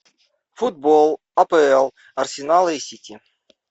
футбол апл арсенала и сити